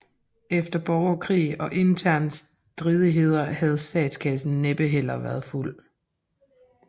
Efter borgerkrig og interne stridigheder havde statskassen næppe heller været fuld